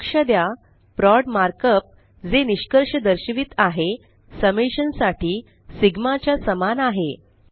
लक्ष द्या prod markup जे निष्कर्ष दर्शवित आहे समेशन साठी सिगमा च्या समान आहे